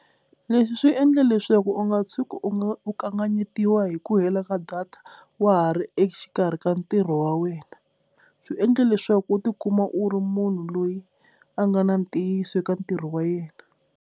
Leswi swi endla leswaku u nga tshuki u nga u kanganyetiwa hi ku hela ka data wa ha ri exikarhi ka ntirho wa wena, swi endla leswaku u tikuma u ri munhu loyi a nga na ntiyiso eka ntirho wa yena.